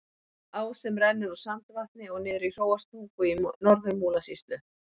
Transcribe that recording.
Á sem rennur úr Sandvatni og niður í Hróarstungu í Norður-Múlasýslu.